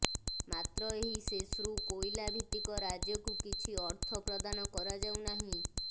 ମାତ୍ର ଏହି ସେସ୍ରୁ କୋଇଲାଭିତ୍ତିକ ରାଜ୍ୟକୁ କିଛି ଅର୍ଥ ପ୍ରଦାନ କରାଯାଉନାହିଁ